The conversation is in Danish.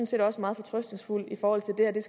set også meget fortrøstningsfuld i forhold til at det